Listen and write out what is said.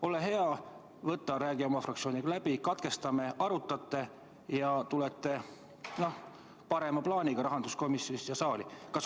Ole hea, räägi oma fraktsiooniga läbi, katkestame, te arutate ja tulete parema plaaniga rahanduskomisjonist siia saali.